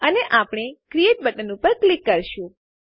અને આપણે create button ઉપર ક્લિક કરીશું